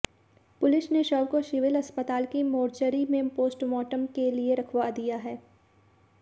police ने शव को सिविल अस्पताल की मोर्चरी में पोस्टमार्टम के लिए रखवा दिया है